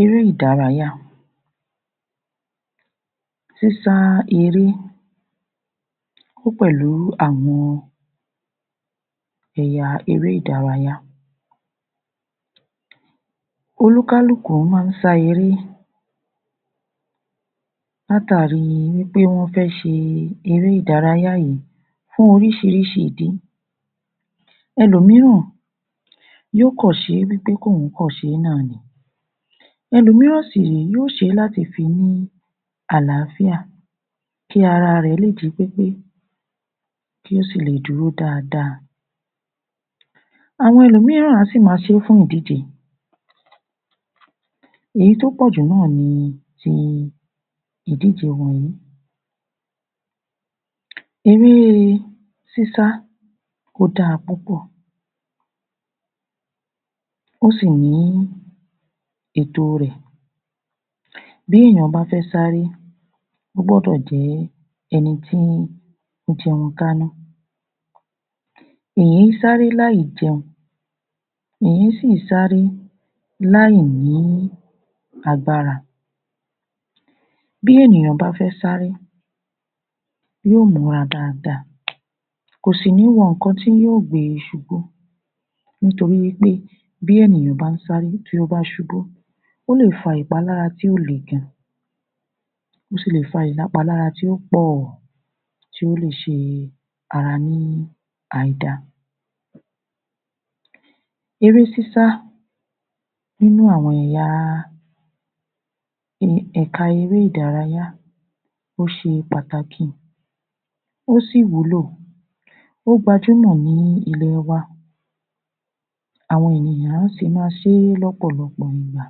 Eré-ìdárayá, sísá eré ó pẹ̀lú àwọn ẹ̀yà eré-ìdárayá. Oníkálùkù ma ń sá eré látàrí wí pé wọ́n fẹ́ ṣe eré-ìdárayá yìí fún oríṣiríṣi ìdí. Ẹlòmííràn yó kàn ṣe wí pé kí òun kàn ṣe nìkan náà ni. Ẹlòmííràn sì ré, yóò ṣé láti fi ní àlááfíà, kí ara rẹ̀ lè jí pépé, kí ó sì lè dúró dáadá. Àwọn ẹlòmííràn á sì ma ṣé fún ìdíje. Èyí tó pọ̀jù náà ni ti ìdíje wọnyìí. Eré sísá ó da púpọ̀, ó sì ní ètò rẹ̀ bí èèyàn bá fẹ́ sáré ó gbọ́dọ̀ jẹ́ ẹni tí ń jẹun kánú. Kì í sáré láì jẹun kì í sì sáré láì ní agbára. Bí ènìyàn bá fẹ́ sáré yóò múra dáadá kò sì ní wọ nǹkan tí yóò gbe e ṣubú nítorí wí pé bí ènìyàn bá ń sáré tí ó bá ṣubú ó lè fa ìpalára tí ó le gan-an ó sì lè fa ìlápalára tí ó pọ̀ tí ó lè ṣe ara ní aìda. Eré sísá nínú àwọn ẹ̀ya ẹ̀ka eré-ìdárayá ó ṣe pàtàkì, ó sì wúlò ó gbajúmọ̀ ní ìlú-ọba àwọn ènìyàn ń sì ma ṣé lọ́pọ̀lọpọ̀ ìgbà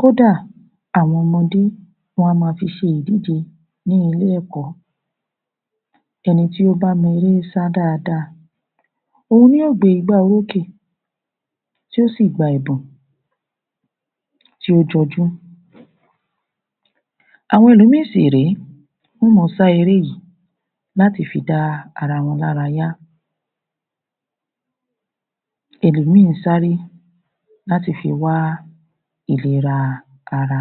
kódàà àwọn ọmọdé wọ́n á ma fi ṣe ìdíje ní ilé-ẹ̀kọ́. Ẹni tí ó bá mọ eré sá dáada òun ní yóò gbé igbá orókè tí yóò sì gba ẹ̀bùn tí ó jọjú. Àwọn ẹlòmíì sì ré, wọ́n ó ma sá eré yìí láti fi dá ara wọn lára yá. Ẹlòmíì ń sáré láti fi wá ìlera ara.